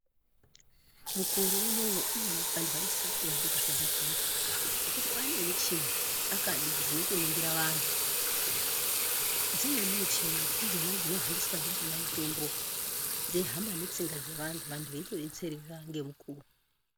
Mukore unowu iii vantu vanosisa kuti vaende kuzvibhedhlera ngokuti kwaane muchini akadi dzinotoningira vanhu dzimweni muchini ndidzona dzinohambiswa ndidzona mutombo dzeihamba ngetsinga dzevantu vantu veitodetsereka ngemukuwo.